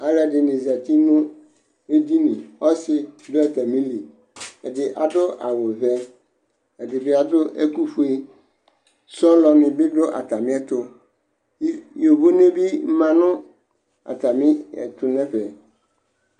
Alʋ ɛdɩnɩ zati nʋ edini, ɔsɩ bɩ dʋ atamili, ɛdɩ adʋ awʋ vɛ, ɛdɩ bɩ adʋ ɛkʋ fue, sɔlɔnɩ bɩ dʋ atamɩ ɛtʋ, yovone bɩ ma nʋ atamɩ ɛtʋ nʋ ɛfɛ